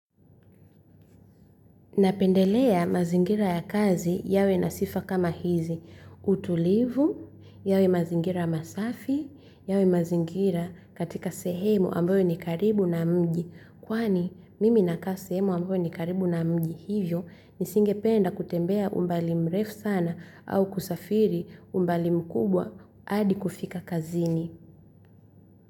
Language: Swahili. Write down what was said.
Napendelea mazingira ya kazi yawe na sifa kama hizi. Utulivu, yawe mazingira masafi, yawe mazingira katika sehemu ambayo ni karibu na mji. Kwani mimi nakaa sehemu ambayo ni karibu na mji hivyo nisingependa kutembea umbali mrefu sana au kusafiri umbali mkubwa hadi kufika kazini.